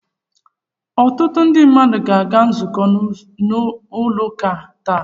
Ọtụtụ ndị mmadu aga-aga nzukọ n'ụlọ uka taa?